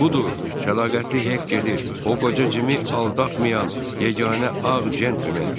Budur, səlaqətli Hek gedir, o qoca Cimi aldatmayan yeganə ağ centlmendir.